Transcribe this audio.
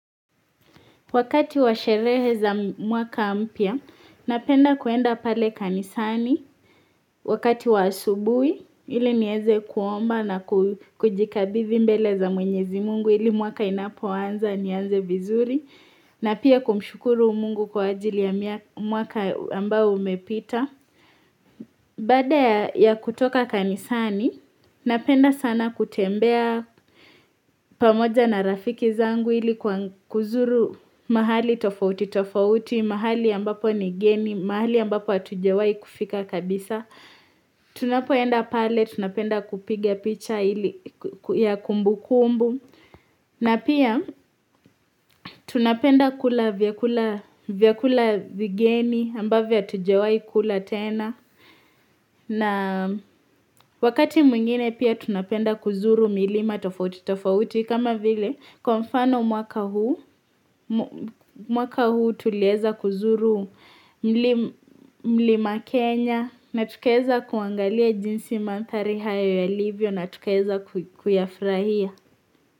Wakati wa sherehe za mwaka mpya, napenda kuenda pale kanisani, wakati wa asubuhi, ili nieze kuomba na kujikabidhi mbele za mwenyezi mungu ili mwaka inapoanza, nianze vizuri, na pia kumshukuru mungu kwa ajili ya mwaka ambao umepita. Baada ya kutoka kanisani, napenda sana kutembea pamoja na rafiki zangu ili kuzuru mahali tofauti tofauti, mahali ambapo ni geni, mahali ambapo hatujawai kufika kabisa. Tunapoenda pale, tunapenda kupiga picha ili ya kumbukumbu. Na pia, tunapenda kula vyakula vigeni ambavyo hatujawahi kula tena. Na wakati mwingine pia tunapenda kuzuru milima tofauti tofauti kama vile kwa mfano mwaka huu mwaka huu tulieza kuzuru mlima Kenya na tukaeza kuangalia jinsi manthari hayo yalivyo na tukaeza kuyafurahia.